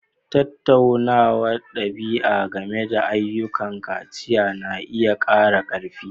Tattaunawar ɗabi'a game da ayyukan kaciya na iya ƙara ƙarfi.